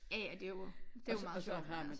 Ja ja det jo det meget sjovt